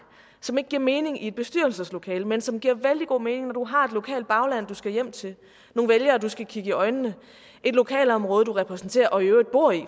som ikke giver mening i et bestyrelseslokale men som giver vældig god mening når du har et lokalt bagland du skal hjem til nogle vælgere du skal kigge i øjnene et lokalområde du repræsenterer og i øvrigt bor i